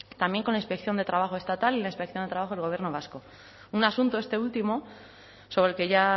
también con la inspección de trabajo estatal y la inspección de trabajo del gobierno vasco un asunto este último sobre el que ya